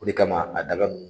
O de kama a daga nunnu.